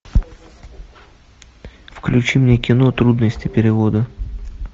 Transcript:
включи мне кино трудности перевода